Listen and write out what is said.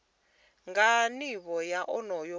nga nivho ya onoyo muthu